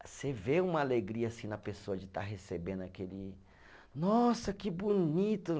Você vê uma alegria na pessoa de estar recebendo aquele, nossa, que bonito!